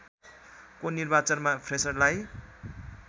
को निर्वाचनमा फ्रेसरलाई